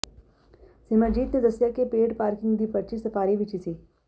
ਸਿਮਰਜੀਤ ਨੇ ਦੱਸਿਆ ਕਿ ਪੇਡ ਪਾਰਕਿੰਗ ਦੀ ਪਰਚੀ ਸਫਾਰੀ ਵਿਚ ਹੀ ਸੀ